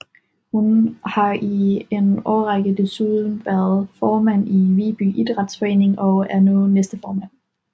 Hun har i en årrække desuden været formand i Viby Idrætsforening og er nu næstformand